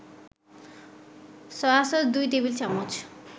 soy sauce ২ টেবিল-চামচ